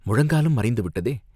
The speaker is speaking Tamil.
முழங்காலும் மறைந்து விட்டதே!